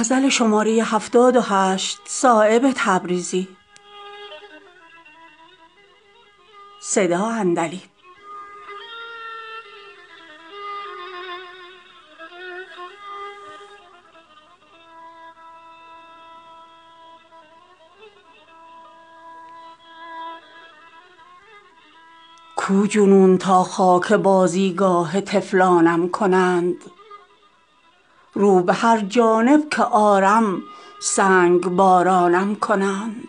کو جنون تا خاک بازیگاه طفلانم کنند رو به هر جانب که آرم سنگبارانم کنند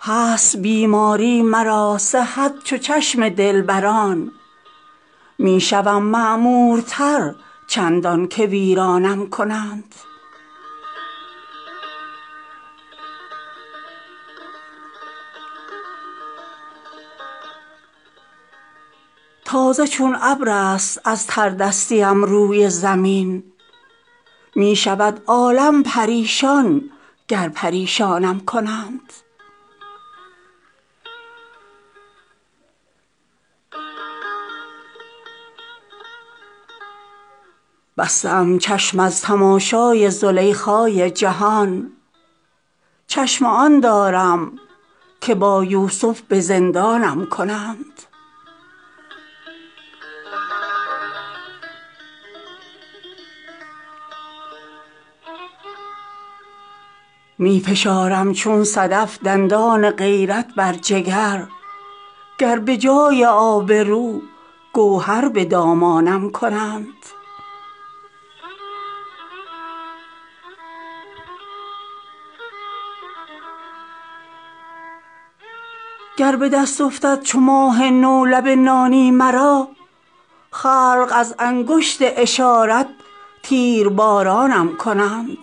هست بیماری مرا صحت چو چشم دلبران می شوم معمورتر چندان که ویرانم کنند روی گل شد آتشین از شعله آواز من از مروت نیست بیرون زین گلستانم کنند می کنم گنجینه گوهر صدفها را تمام از کرم سیراب اگر چون ابر نیسانم کنند تازه چون ابرست از تردستیم روی زمین می شود عالم پریشان گر پریشانم کنند همچو مور از خاکساری دارم آتش زیر پا مسند عزت گر از دست سلیمانم کنند گر به دست افتد چو ماه نو لب نانی مرا خلق از انگشت اشارت تیربارانم کنند بسته ام چشم از تماشای زلیخای جهان چشم آن دارم که با یوسف به زندانم کنند می فشارم چون صدف دندان غیرت بر جگر گر به جای آبرو گوهر به دامانم کنند زان لب میگون به پیغامی قناعت کرده ام جای آن دارد که خوبان بوسه بارانم کنند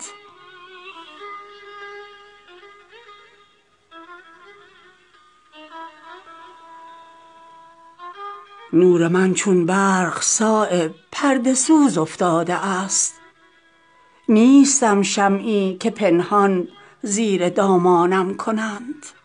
نور من چون برق صایب پرده سوز افتاده است نیستم شمعی که پنهان زیر دامانم کنند